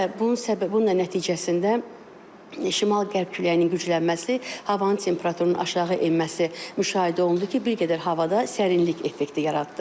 Və bunun səbəbi, bununla nəticəsində şimal-qərb küləyinin güclənməsi havanın temperaturunun aşağı enməsi müşahidə olundu ki, bir qədər havada sərinlik effekti yaratdı.